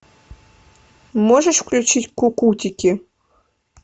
можешь включить кукутики